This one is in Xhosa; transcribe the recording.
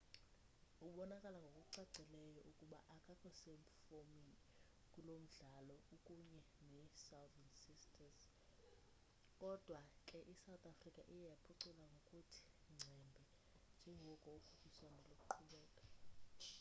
ubonakala ngokucacileyo ukuba akakho sefomini kulo mdlalo ukunye nesouthern sisters kodwa ke isouth africa iye yaphucula ngokuthe ngcembe njengoko ukhuphiswano luqhubeka